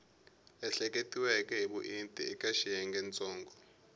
ehleketiweke hi vuenti eka xiyengentsongo